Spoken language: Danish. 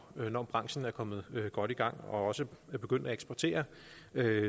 når branchen er kommet godt i gang og også er begyndt at eksportere